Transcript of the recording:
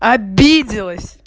обиделась